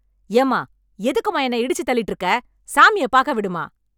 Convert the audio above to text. ஏம்மா எதுக்குமா என்னை இடிச்சு தள்ளிட்டு இருக்க,.. சாமிய பார்க்க விடுமா